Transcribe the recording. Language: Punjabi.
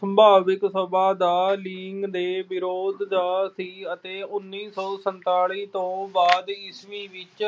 ਸੰਭਾਵਿਕ ਸਭਾ ਦਾ ਲਿੰਗ ਦੇ ਵਿਰੋਧ ਦਾ ਸੀ ਅਤੇ ਉਨੀ ਸੌ ਸੰਤਾਲੀ ਤੋਂ ਬਾਅਦ ਈਸਵੀ ਵਿੱਚ